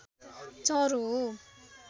चरो हो